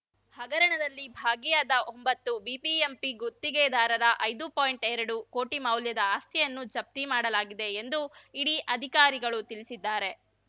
ಹಗರಣದಲ್ಲಿ ಭಾಗಿಯಾದ ಒಂಭತ್ತು ಬಿಬಿಎಂಪಿ ಗುತ್ತಿಗೆದಾರರ ಐದು ಪಾಯಿಂಟ್ಎರಡು ಕೋಟಿ ಮೌಲ್ಯದ ಆಸ್ತಿಯನ್ನು ಜಪ್ತಿ ಮಾಡಲಾಗಿದೆ ಎಂದು ಇಡಿ ಅಧಿಕಾರಿಗಳು ತಿಳಿಸಿದ್ದಾರೆ